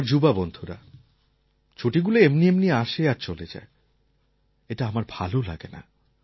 আমার যুবা বন্ধুরা ছুটিগুলো এমনি এমনি আসে আর চলে যায় এটা আমার ভাল লাগে না